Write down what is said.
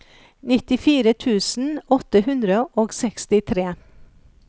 nittifire tusen åtte hundre og sekstitre